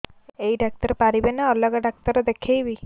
ଏଇ ଡ଼ାକ୍ତର ପାରିବେ ନା ଅଲଗା ଡ଼ାକ୍ତର ଦେଖେଇବି